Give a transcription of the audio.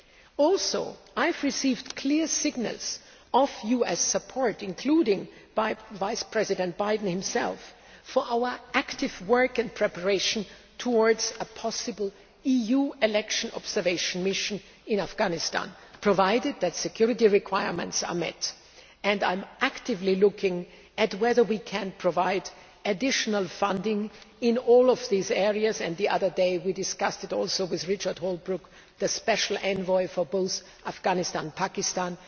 I have also received clear signals of US support including from Vice President Biden himself for our active work in preparation towards a possible EU election observation mission in Afghanistan, provided that security requirements are met. I am actively looking at whether we can provide additional funding in all of these areas. The other day we also discussed it with Richard Holbrooke, the Special Envoy for both Afghanistan and Pakistan.